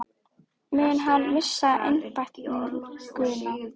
Mun hann missa einbeitinguna?